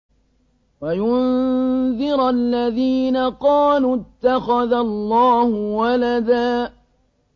وَيُنذِرَ الَّذِينَ قَالُوا اتَّخَذَ اللَّهُ وَلَدًا